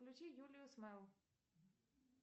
включи юлию смайл